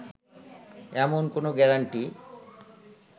এমন কোনো গ্যারান্টি